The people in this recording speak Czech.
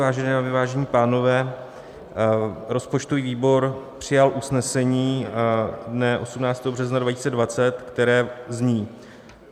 Vážené dámy, vážení pánové, rozpočtový výbor přijal usnesení dne 18. března 2020, které zní: